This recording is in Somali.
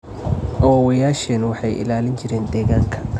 Awoowayaasheen waxay ilaalin jireen deegaanka.